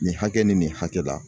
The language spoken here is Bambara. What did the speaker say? Nin hakɛ ni nin hakɛ la